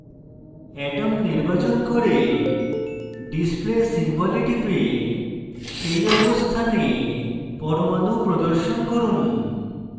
atom নির্বাচন করে display symbol এ টিপে সেই অবস্থানে পরমাণু প্রদর্শন করুন